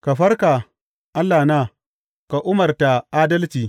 Ka farka, Allahna, ka umarta adalci.